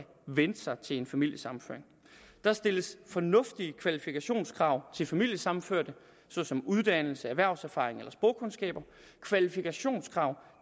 vente sig til en familiesammenføring der stilles fornuftige kvalifikationskrav til familiesammenførte såsom uddannelse erhvervserfaring eller sprogkundskaber kvalifikationskrav